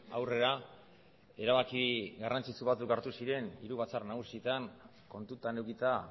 aurrera erabaki garrantzitsu batzuk hartu ziren hiru batzar nagusietan kontutan edukita